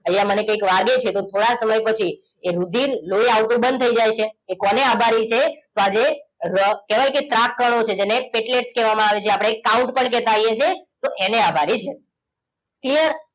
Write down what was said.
અહિયાં મને કંઈક વાગે છે તો થોડા સમય પછી એ રુધિર લોહી આવતું બંધ થઈ જાય છે એ કોને આભારી છે તો આજે કહેવાય કે ત્રાક કણો છે જે ને કેટલેક કહેવામાં આવે છે જે આપણે count પણ કહેતા હોઈએ છીએ એને આભારી છે clear